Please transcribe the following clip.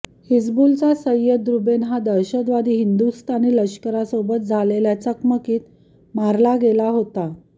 हिझबुलचा सय्यद रूबेन हा दहशतवादी हिंदुस्थानी लष्करासोबत झालेल्या चकमकीत मारला गेला होता